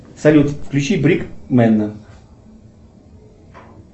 салют включи брик менда